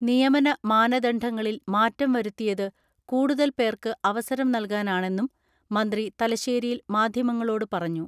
നിയമന മാന ദണ്ഡങ്ങളിൽ മാറ്റം വരുത്തിയത് കൂടുതൽ പേർക്ക് അവസരം നൽകാനാണെന്നും മന്ത്രി തലശ്ശേരിയിൽ മാധ്യമങ്ങളോട് പറഞ്ഞു.